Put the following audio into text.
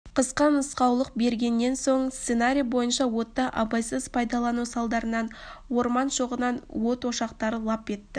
қысқа нұсқаулық бергеннен соң сценарий бойынша отты абайсыз пайдалану салдарынан орман шоғынан от ошақтары лап етті